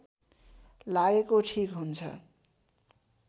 लागेको ठीक हुन्छ